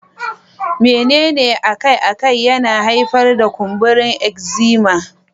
Menene akai-akai yana haifar da kumburin eczema?